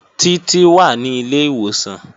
Títí wà ní ilé ìwòsàn